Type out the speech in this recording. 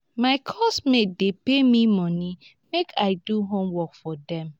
my course mates dey pay me money make i do homework for dem